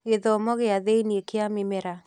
Gĩthomo gĩa thĩinĩ kĩa mĩmera